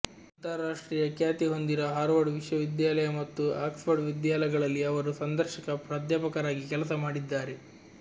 ಅಂತಾರಾಷ್ಟ್ರೀಯ ಖ್ಯಾತಿ ಹೊಂದಿರುವ ಹಾರ್ವರ್ಡ್ ವಿಶ್ವವಿದ್ಯಾಲಯ ಮತ್ತು ಆಕ್ಸ್ಫರ್ಡ್ ವಿದ್ಯಾಲಯಗಳಲ್ಲಿ ಅವರು ಸಂದರ್ಶಕ ಪ್ರಾಧ್ಯಾಪಕರಾಗಿ ಕೆಲಸಮಾಡಿದ್ದಾರೆ